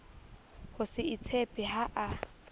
ho se itshepe ha a